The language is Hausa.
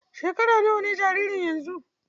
Shekara nawa ne jaririn yanzu?